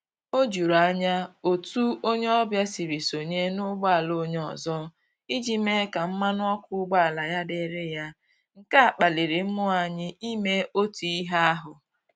O juru anya otu onye ọbịa siri sonye n'ụgboala onye ọzọ iji mee ka mmanụ ọkụ ụgbọala ya dịrị ya, nke a kpaliri mmụọ anyị ime otu ihe ahụ ya